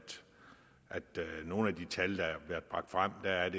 det i nogle af de tal der har været bragt frem er